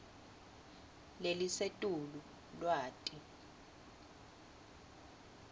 lelisetulu lwati